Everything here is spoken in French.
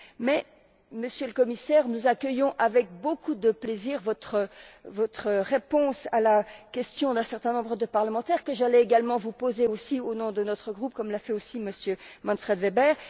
Mais, Monsieur le Commissaire, nous accueillons avec beaucoup de plaisir votre réponse à la question d'un certain nombre de parlementaires, que j'allais également vous poser au nom de notre groupe, comme l'a fait aussi M. Manfred Weber.